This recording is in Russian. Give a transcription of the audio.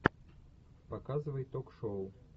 показывай ток шоу